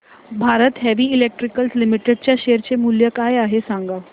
Bharat Heavy Electricals Limited च्या share चे मूल्य काय आहे सांगा